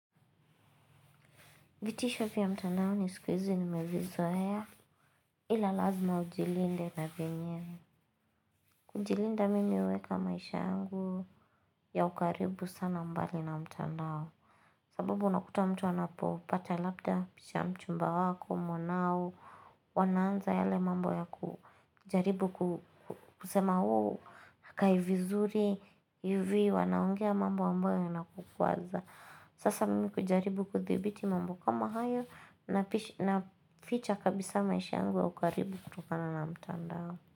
Vitisho vya mtandao ni sikuizi nimevizoea ila lazima ujilinde na vyenyewe. Kujilinda mimi uweka maisha yangu ya ukaribu sana mbali na mtandao. Sababu unakuta mtu anapopata labda picha ya mchumba wako mwanao. Wanaanza yale mambo ya kujaribu kusema uu hakaivizuri yuvio wanaongia mambo ambaya yanakukuwaza. Sasa mimi kujaribu kudhibiti mambo kama hayo na ficha kabisa maishi yangu ya ukaribu kutokana na mtandao.